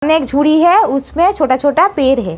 एक झूरी है उसमे छोटा-छोटा पेर है।